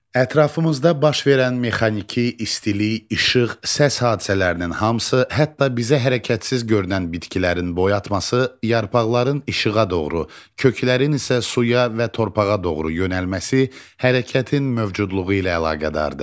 Ətrafımızda baş verən mexaniki, istilik, işıq, səs hadisələrinin hamısı, hətta bizə hərəkətsiz görünən bitkilərin boy atması, yarpaqların işığa doğru, köklərin isə suya və torpağa doğru yönəlməsi hərəkətin mövcudluğu ilə əlaqədardır.